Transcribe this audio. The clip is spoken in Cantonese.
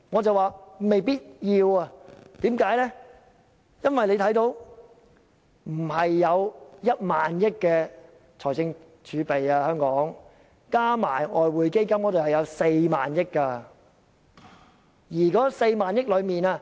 因為香港的財政儲備並非只有1萬億元，計及外匯基金後，共有4萬億元，在這4萬億元中，